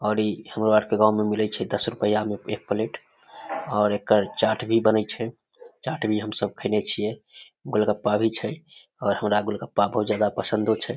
और इ हमरो आर के गांव में मिलय छै दस रुपिया में एक प्लेट और एकर चाट भी बनय छै चाट भी हम सब खइने छिए गोलगप्पा भी छै और हमरा गोलगप्पा बहुत ज्यादा पसंदो छै।